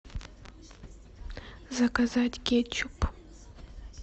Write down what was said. заказать кетчуп